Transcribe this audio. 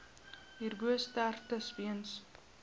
hierbo sterftes weens